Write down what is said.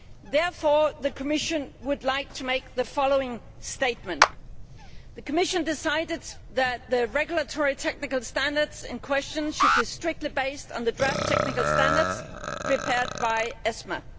Therefore the Commission would like to make the following statement The Commission decided that the regulatory technical standards in question should be strictly based on the draft technical standards prepared by ESMA.